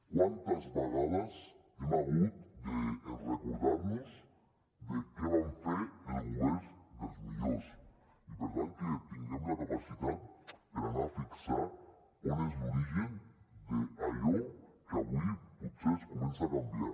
quantes vegades hem hagut de recordar nos de què van fer el governs dels millors i per tant que tinguem la capacitat per anar a fixar on és l’origen d’allò que avui potser es comença a canviar